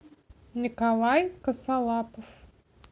николай косолапов